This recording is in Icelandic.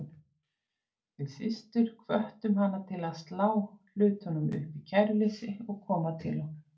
Við systur hvöttum hana til að slá hlutunum upp í kæruleysi og koma til okkar.